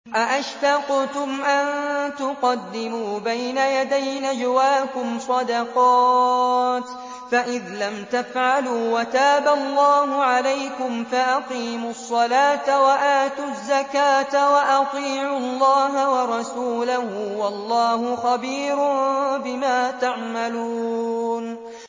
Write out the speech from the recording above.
أَأَشْفَقْتُمْ أَن تُقَدِّمُوا بَيْنَ يَدَيْ نَجْوَاكُمْ صَدَقَاتٍ ۚ فَإِذْ لَمْ تَفْعَلُوا وَتَابَ اللَّهُ عَلَيْكُمْ فَأَقِيمُوا الصَّلَاةَ وَآتُوا الزَّكَاةَ وَأَطِيعُوا اللَّهَ وَرَسُولَهُ ۚ وَاللَّهُ خَبِيرٌ بِمَا تَعْمَلُونَ